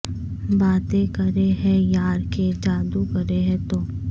باتیں کرے ہے یار کے جادو کرے ہے تو